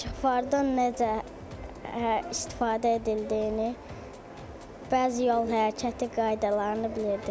İşıqfordan necə istifadə edildiyini, bəzi yol hərəkəti qaydalarını bilirdim.